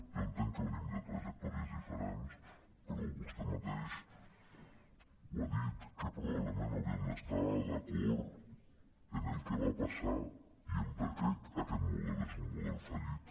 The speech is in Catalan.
jo entenc que venim de trajectòries diferents però vostè mateixa ho ha dit que probablement hauríem d’es·tar d’acord en el que va passar i en per què aquest model és un model fallit